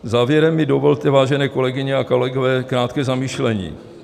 Závěrem mi dovolte, vážené kolegyně a kolegové, krátké zamyšlení.